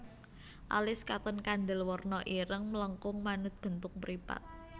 Alis katon kandel werna ireng melengkung manut bentuk mripat